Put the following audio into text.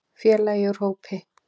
Félagi úr hópi